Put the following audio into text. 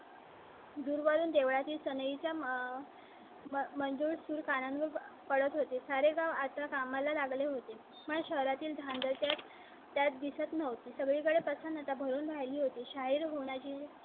दूर वरून देवळी सनी च्या. मंजूर सुर कानावर पडत होते. सारे गाव आता कामाला लागले होते. मला शहरातील झाडांच्या त्यात दिसत नव्हते. सगळीकडे प्रसन्नता भरून राहिली होती. शाहीर होनाजी चे